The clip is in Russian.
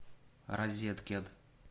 розеткед